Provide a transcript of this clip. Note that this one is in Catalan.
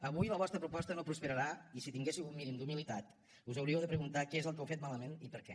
avui la vostra proposta no prosperarà i si tinguéssiu un mínim d’humilitat us hauríeu de preguntar què és el que heu fet malament i per què